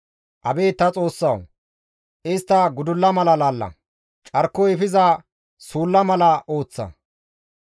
Abeet ta Xoossawu! Istta gudulla mala laalla; carkoy efiza suulla mala ooththa.